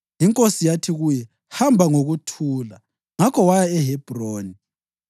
Inkosi yathi kuye, “Hamba ngokuthula.” Ngakho waya eHebhroni.